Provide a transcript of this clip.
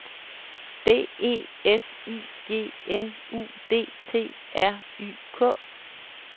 D E S I G N U D T R Y K